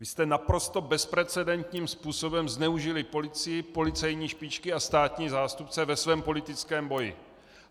Vy jste naprosto bezprecedentním způsobem zneužili policii, policejní špičky a státní zástupce ve svém politickém boji.